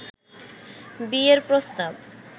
বিয়ের প্রস্তাব